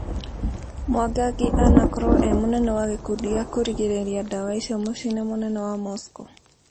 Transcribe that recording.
Mwangangi anakorwo e mũnene wa gĩkundi gĩa kũrigĩrĩria dawa ico muciĩ-inĩ munene wa Moscow